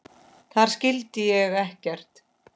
Þar skildi ég ekkert.